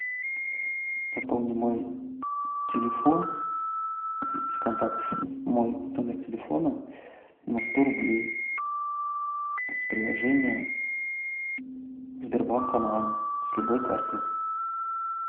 пополни мой телефон из контактов мой номер телефона на сто рублей с приложения сбербанк онлайн с любой карты